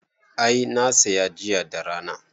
I, na saya jiya da rana